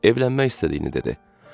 Evlənmək istədiyini dedi.